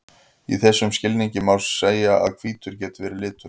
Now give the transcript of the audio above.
í þessum skilningi má því segja að hvítur geti verið litur